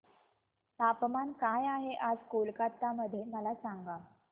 तापमान काय आहे आज कोलकाता मध्ये मला सांगा